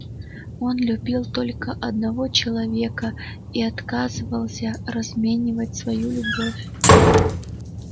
он любил только одного человека и отказывался разменивать свою любовь